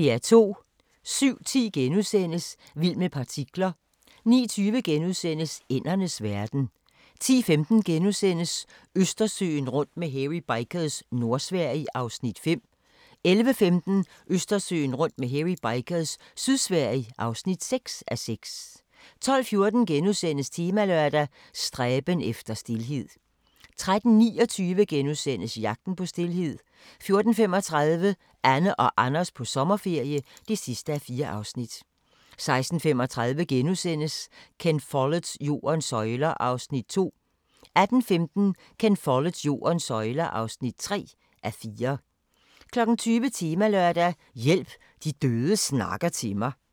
07:40: Vild med partikler * 09:20: Ændernes verden * 10:15: Østersøen rundt med Hairy Bikers – Nordsverige (5:6)* 11:15: Østersøen rundt med Hairy Bikers – Sydsverige (6:6) 12:14: Temalørdag: Stræben efter stilhed * 13:29: Jagten på stilheden * 14:35: Anne og Anders på sommerferie (4:4) 16:35: Ken Folletts Jordens søjler (2:4)* 18:15: Ken Folletts Jordens søjler (3:4) 20:00: Temalørdag: Hjælp – de døde snakker til mig